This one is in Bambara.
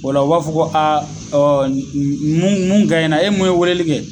Ola o b'a fɔ ko aa ɔ mun mun ganɲɛra e mun ye weleli kɛ